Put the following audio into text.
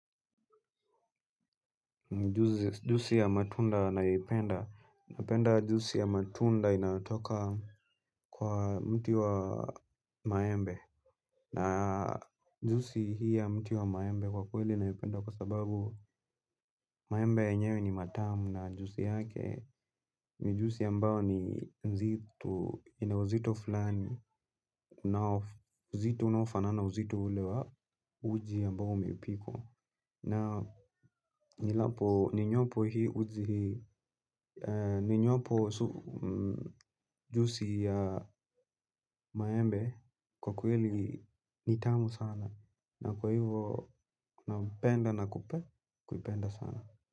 Juisi ya matunda nayoipenda. Napenda juisi ya matunda inayotoka kwa mti wa maembe. Na juisi hii ya mti wa maembe kwa kweli naipenda. Kwa sababu maembe yenyewe ni matamu na juisi yake. Ni juisi ambayo ni nzito ina uzito fulani. Na uzito unaofana na uzito ule wa uji ambao umepikwa. Na nilapo ninywapo hii uji hii ninywapo juisi ya maembe kwa kweli ni tamu sana na kwa hivo napenda na kuipenda sana.